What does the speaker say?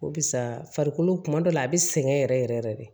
Barisa farikolo kuma dɔ la a bi sɛgɛn yɛrɛ yɛrɛ yɛrɛ de